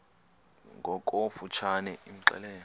ngokofu tshane imxelele